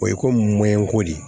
O ye komi mɔnɛko de ye